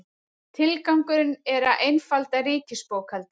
Tilgangurinn er að einfalda ríkisbókhaldið